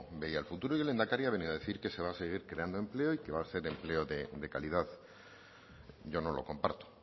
veía el futuro y el lehendakari ha venido a decir que se va a seguir creando empleo y que va a ser empleo de calidad yo no lo comparto